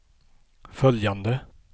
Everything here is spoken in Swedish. följande